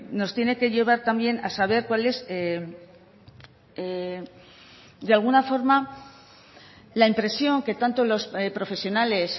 nos tiene que llevar también a saber cuál es de alguna forma la impresión que tanto los profesionales